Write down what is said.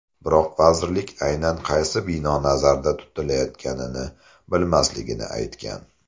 Biroq vazirlik aynan qaysi bino nazarda tutilayotganini bilmasligini aytgan.